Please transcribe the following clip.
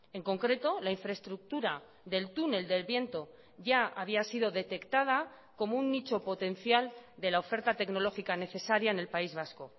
en concreto la infraestructura del túnel del viento ya había sido detectada como un nicho potencial de la oferta tecnológica necesaria en el país vasco